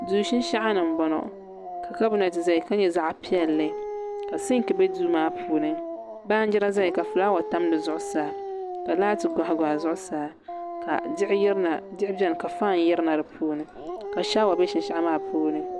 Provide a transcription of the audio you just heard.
Duu shinshaɣu ni n bɔŋɔ ka kabinɛt ʒɛya ka nyɛ zaɣ piɛlli ka sink bɛ duu maa puuni baanjira ʒɛya ka fulaawa tam dizuɣusaa ka laati goɣi goɣi di zuɣusaa ka diɣi biɛni ka faan yirina di puuni ka shaawa bɛ shinshaɣu maa puuni